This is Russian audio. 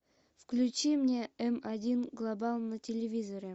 включи мне м один глобал на телевизоре